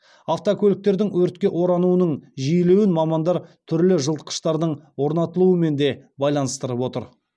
автокөліктердің өртке орануының жиілеуін мамандар түрлі жылытқыштардың орнатылуымен де байланыстырып отыр